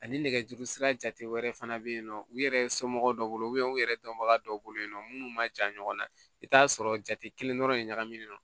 Ani nɛgɛjuru sira jate wɛrɛ fana be yen nɔ u yɛrɛ somɔgɔw bolo u yɛrɛ dɔnbaga dɔw bolo yen nɔ munnu ma ja ɲɔgɔnna i bɛ t'a sɔrɔ jate kelen dɔrɔn de ɲagaminen don